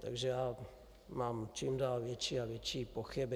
Takže já mám čím dál větší a větší pochyby.